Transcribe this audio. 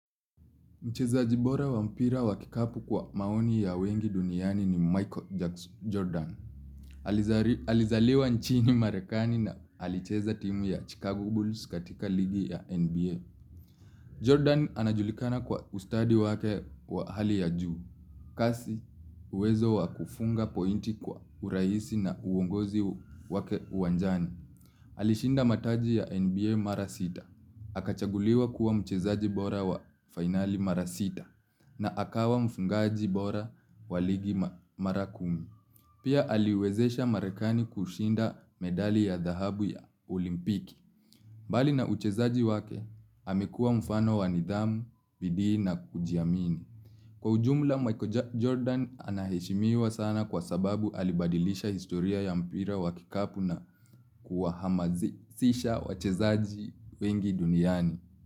Mchezaji bora wa mpira wa kikapu kwa maoni ya wengi duniani ni Michael Jackson Jordan. Alizaliwa nchini marekani na alicheza timu ya Chicago Bulls katika ligi ya NBA Jordan anajulikana kwa ustadi wake wa hali ya juu. Kasi uwezo wa kufunga pointi kwa uraisi na uongozi wake uwanjani. Alishinda mataji ya NBA mara sita. Akachaguliwa kuwa mchezaji bora wa finali mara sita. Na akawa mfungaji bora waligi mara kumi. Pia aliwezesha marekani kushinda medali ya dhahabu ya olimpiki. Bali na uchezaji wake, amekua mfano wa nidhamu, bidii na kujiamini. Kwa ujumla, Michael Jordan anaheshimiwa sana kwa sababu alibadilisha historia ya mpira wa kikapu na kuwa hamazisisha wachezaji wengi duniani.